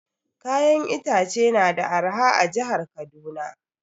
Kayan itace na da arha a jihar Kaduna